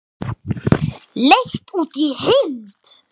Leigt út í heild?